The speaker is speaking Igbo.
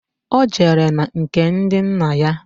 Ọ jere na nke ndị nna ya